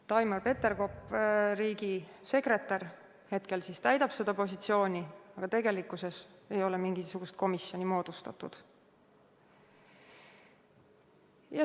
Taimar Peterkop, riigisekretär, täidab hetkel seda positsiooni, aga tegelikkuses ei ole mingisugust komisjoni moodustatud.